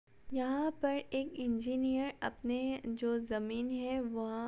यहाँ पर एक इंजीनियर अपने जो जमीन है वोह --